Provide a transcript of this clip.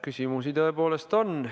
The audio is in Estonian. Küsimusi tõepoolest on.